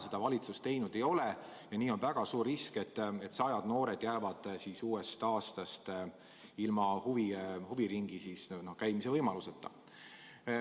Seda valitsus teinud ei ole ja nii on väga suur risk, et sajad noored jäävad uuest aastast ilma huviringis käimise võimaluseta.